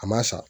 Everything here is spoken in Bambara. A ma sa